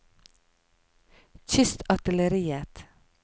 kystartilleriet